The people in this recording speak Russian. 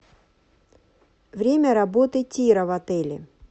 время работы тира в отеле